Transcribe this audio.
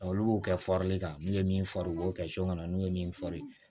Olu b'o kɛ fɔrli kama n'u ye min far'u b'o kɛ kɔnɔ n'u ye min fɔri